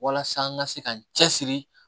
Walasa n ka se ka n cɛ siri